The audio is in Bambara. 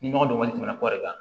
Ni nɔgɔ dɔgɔnin tɛmɛna kɔli kan